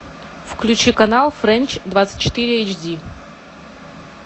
включи канал фрэнч двадцать четыре эйчди